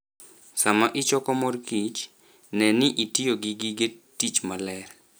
Sama ichoko morkich, ne ni itiyo gi gige tich maler.